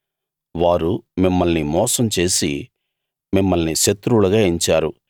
వారు మిమ్మల్ని మోసం చేసి మిమ్మల్ని శత్రువులుగా ఎంచారు